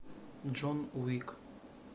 джон уик